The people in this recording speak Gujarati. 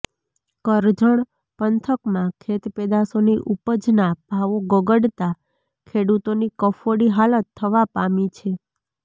કરજણ પંથકમાં ખેત પેદાશોની ઉપજના ભાવો ગગડતા ખેડૂતોની કફોડી હાલત થવા પામી છે